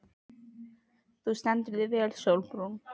Þú stendur þig vel, Sólbrún!